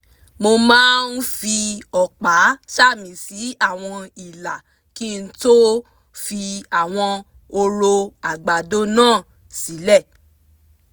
mo máa ń fi ọ̀pá sàmì sí àwọn ìlà kí n tó fi àwọn hóró àgbàdo náà sílẹ̀